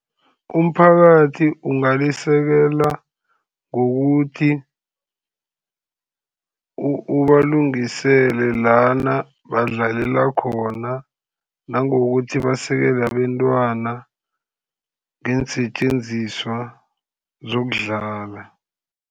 Umphakathi ungalisekela ngokuthi ubalungisele lana badlalela khona, nangokuthi basekele abentwana ngeensetjenziswa zokudlala.